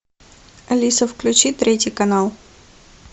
алиса включи третий канал